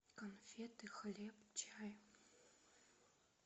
конфеты хлеб чай